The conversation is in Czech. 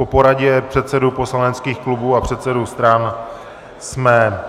Po poradě předsedů poslaneckých klubů a předsedů stran jsme